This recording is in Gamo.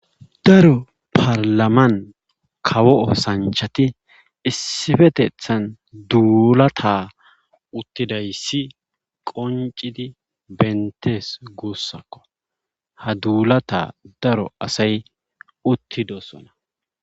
Daro paralaman kawo osanchati issipetetan dulata utidaysati qoncisid betes gusako.ha dulata daro asati utidosona.